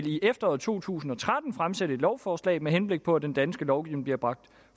i efteråret to tusind og tretten vil fremsætte et lovforslag med henblik på at den danske lovgivning bliver bragt